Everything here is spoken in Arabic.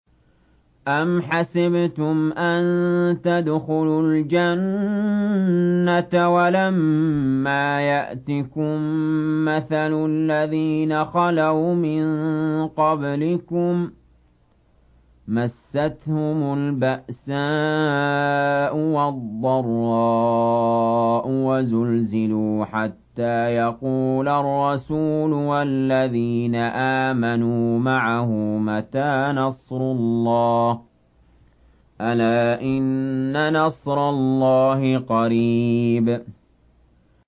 أَمْ حَسِبْتُمْ أَن تَدْخُلُوا الْجَنَّةَ وَلَمَّا يَأْتِكُم مَّثَلُ الَّذِينَ خَلَوْا مِن قَبْلِكُم ۖ مَّسَّتْهُمُ الْبَأْسَاءُ وَالضَّرَّاءُ وَزُلْزِلُوا حَتَّىٰ يَقُولَ الرَّسُولُ وَالَّذِينَ آمَنُوا مَعَهُ مَتَىٰ نَصْرُ اللَّهِ ۗ أَلَا إِنَّ نَصْرَ اللَّهِ قَرِيبٌ